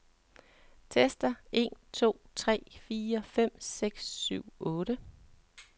Tester en to tre fire fem seks syv otte.